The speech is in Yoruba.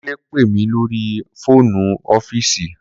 Kunle pè mí lórí fóònù ọ́fíìsì